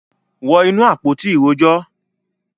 wọ inú “àpótí ìrojọ́”.